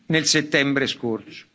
nel settembre scorso.